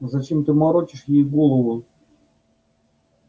зачем ты морочишь ей голову